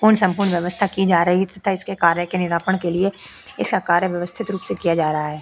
पूर्ण संपूर्ण व्यवस्था की जा रही है तथा इसके कार्य के निरापण के लिए इसका कार्य व्यवस्थित रूप से किया जा रहा है।